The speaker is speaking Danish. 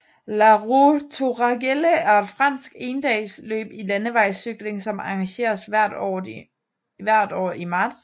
La Roue Tourangelle er et fransk endagsløb i landevejscykling som arrangeres hvert år i marts